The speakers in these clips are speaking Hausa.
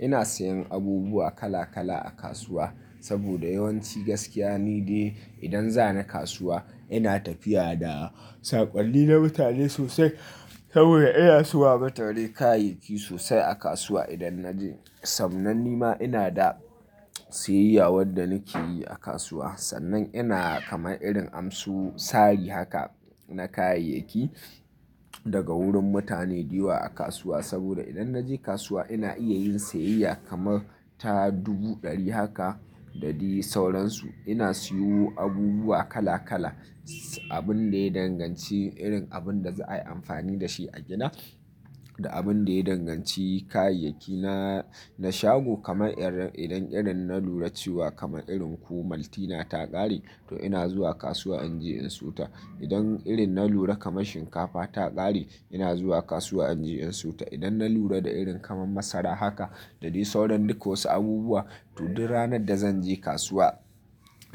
Ina sayen abubuwa kala kala a kasuwa saboda yawanci gaskiya nide idan zan kasuwa ina tafiya da saƙalli na mutane sosai saboda iya suwa matarai kayayyaki sosai a kasuwa. Idan na je, sannan ni ma ina da siyayya wadda nake yi a kasuwa. Sannan ina kama irin amsu sari haka na kayayyaki daga wurin mutane da yawa a kasuwa saboda idan na je kasuwa ina iya yin siyayya kamar ta dubu ɗari haka da dai sauransu. Ina siyo abubuwa kala kala, abun da ya danganci irin abin da za a yi amfani da shi a gida da abun da ya danganci kayayyaki na shago kamar idan irin na lura cewa kamar irin kumaltina ta ƙare to ina zuwa kasuwa in je in siyo ta. Idan irin na lura kamar shinkafa ta ƙare ina zuwa kasuwa in je in siyo ta. Idan na lura da irin kamar masara haka da dai sauran duk wasu abubuwa to duk ranar da zan je kasuwa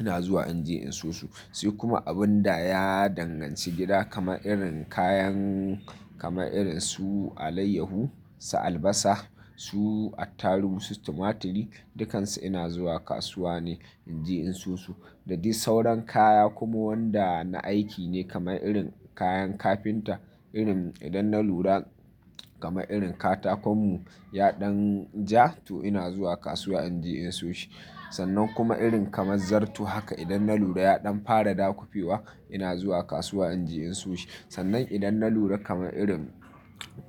ina zuwa in je in siyo su. Sai kuma abun da ya danganci gida kamar irin kayan kamar irin su alayyahu, su albasa, su attaruhu, su tumaturi, dukansu ina zuwa kasuwa ne in je in siyo su da dai sauran kaya kuma wanda na aiki ne kamar irin kayan kafinta. Irin idan na lura kamar irin katakon mu ya ɗan ja to ina zuwa kasuwa in je in siyo shi. Sannan kuma irin kamar zarto haka idan na lura ya ɗan fara dakufewa ina zuwa kasuwa in je in siyo shi. Sannan idan na lura kamar irin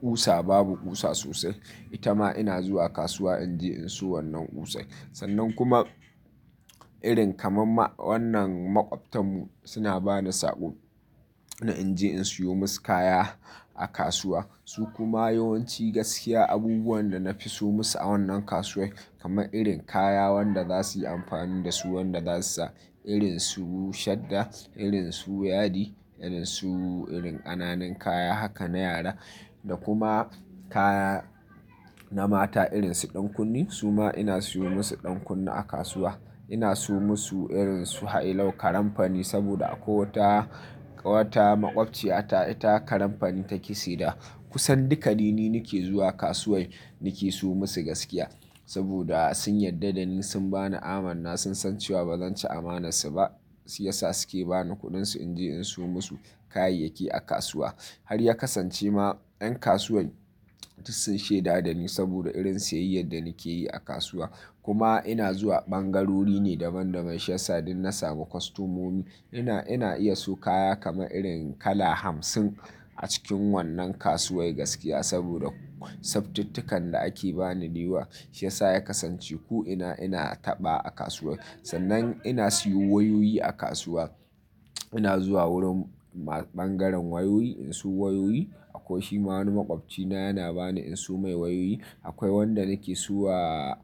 ƙusa babu ƙusa sosai, ita ma ina zuwa kasuwa in je in siyo wannan ƙusar. Sannan kuma irin kamar wannan maƙwabtan mu suna bani saƙo na in je in siyo musu kaya a kasuwa. Su kuma yawanci gaskiya abubuwan da na fi so musu a wannan kasuwar kamar irin kaya wanda za su yi amfani da su, wanda za su sa irin su shadda, irin su yadi, irin su irin ƙananan kaya haka na yara da kuma kaya na mata irin su ɗankunne, su ma ina siyo musu ɗankunne a kasuwa. Ina siyo musu irin su hailau, karamfani saboda ko ta wata maƙwabciyata ita karamfani ta ƙi seda. Kusan duka rini nake zuwa kasuwar nake siyo musu gaskiya saboda sun yarda da ni sun bani amana sun san cewa ba zan ci amanarsu ba shiyasa suke bani kuɗinsu in je in siyo musu kayayyaki a kasuwa. Har ya kasance ma yan kasuwar sun shaida da ni saboda irin siyayyar da nake yi a kasuwa. Kuma ina zuwa ɓangarori ne daban daban shiyasa don na samu kostomomi. Ina, ina iya so kaya kama irin kala hamsin a cikin wannan kasuwar gaskiya saboda tsaftitikan da ake bani da yawa shiyasa ya kasance ko ina ina taɓa a kasuwar. Sannan ina siyo wayoyi a kasuwa. Ina zuwa wurin ɓangaren wayoyi in siyo wayoyi. Akwai shi ma wani maƙwabcina yana bani in siyo mai wayoyi. Akwai wanda nake siyo wa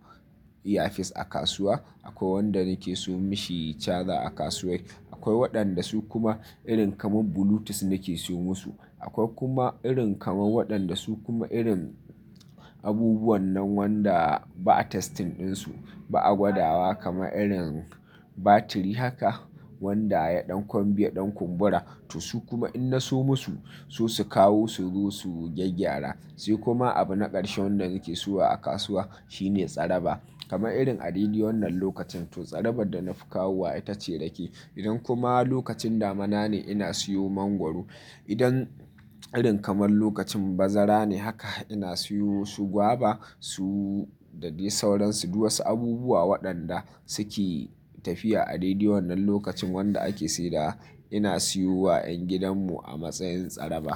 earphone a kasuwa. Akwai wanda nake siyo mashi charger a kasuwa. Akwai waɗanda su kuma irin kamar bluetooth nake siyo musu. Akwai kuma irin kamar waɗanda su kuma irin abubuwan nan wanda ba a testing ɗinsu, ba a gwada wa kamar irin batiri haka wanda ya ɗan kumbiya, ɗan kumbura to su kuma in na siyo musu su su kawo su zo su gyaggyara. Sai kuma abu na ƙarshe wannan nake siyo a kasuwa shine tsaraba kamar irin a rediyo wannan lokacin to tsarabar da na fi kawowa ita ce dake. Idan kuma lokacin damana ne ina siyo mangwaro. Idan irin kamar lokacin bazara ne haka ina siyo su gwaba su da dai sauransu duk wasu abubuwa waɗanda suke tafiya a rediyo wannan lokacin wanda ake sayarwa ina siyo wa yan gidan mu a matsayin tsaraba.